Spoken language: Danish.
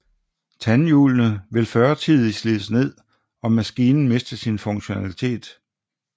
Tandhjulene vil førtidig slides ned og maskinen miste sin funktionalitet